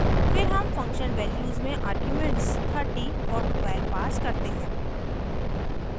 फिर हम function values में arguments 30 और 12 हैं